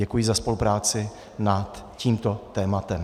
Děkuji za spolupráci nad tímto tématem.